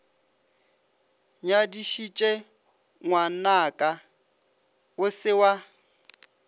nyadišitše ngwanaka o se wa